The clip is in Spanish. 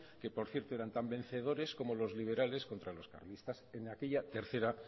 que por cierto eran tan vencedores como los liberales contra los carlistas en aquella tercero